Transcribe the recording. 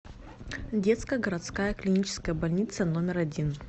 детская городская клиническая больница номер один